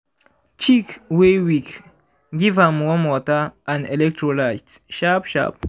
chick wey weak give am warm water and electrolyte sharp-sharp.